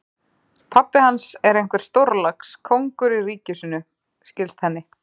Pabbi hans er einhver stórlax, kóngur í ríki sínu, skilst henni.